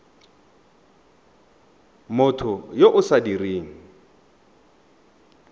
motho yo o sa dirang